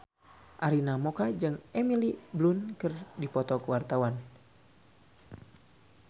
Arina Mocca jeung Emily Blunt keur dipoto ku wartawan